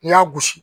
N' y'a gosi